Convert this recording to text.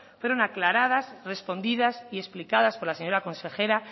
fueron aclaradas respondidas y explicadas por la señora consejera